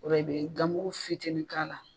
O ra i bɛ ganmugu fitini k'a la.